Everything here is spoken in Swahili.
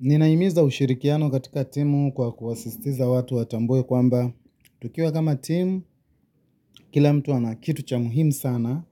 Ninaimiza ushirikiano katika timu kwa kuwasistiza watu watambue kwamba, tukiwa kama timu, kila mtu ana kitu cha muhimu sana,